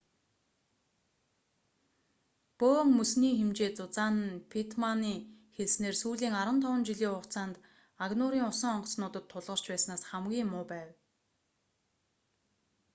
бөөн мөсний хэмжээ зузаан нь питтманы хэлснээр сүүлийн 15 жилийн хугацаанд агнуурын усан онгоцнуудад тулгарч байснаас хамгийн муу байв